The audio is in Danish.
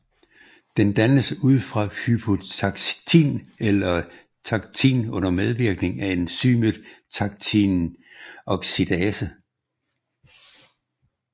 Den dannes ud fra hypoxantin eller Xanthin under medvirkning af enzymet xantinoxidase